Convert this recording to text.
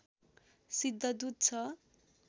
सिद्धदूत छ